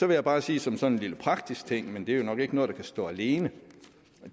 jeg bare sige som sådan en lille praktisk ting men det er nok ikke noget der kan stå alene